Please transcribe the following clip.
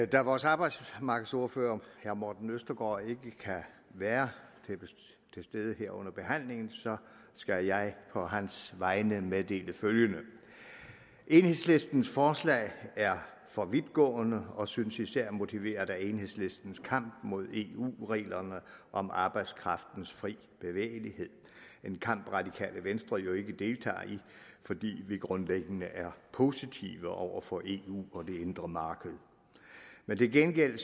da vores arbejdsmarkedsordfører herre morten østergaard ikke kan være til stede her under behandlingen skal jeg på hans vegne meddele følgende enhedslistens forslag er for vidtgående og synes især motiveret af enhedslistens kamp mod eu reglerne om arbejdskraftens fri bevægelighed en kamp det radikale venstre jo ikke deltager i fordi vi grundlæggende er positive over for eu og det indre marked men til gengæld